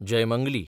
Jaymangali